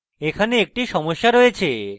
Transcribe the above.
এখানে একটি সমস্যা রয়েছে